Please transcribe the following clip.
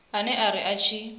ene o ri a tshi